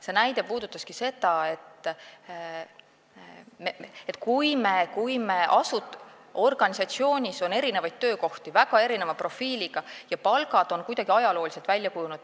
See näide puudutaski seda, et organisatsioonis on erinevaid, väga erineva profiiliga töökohti ja palgad on kuidagi ajalooliselt välja kujunenud.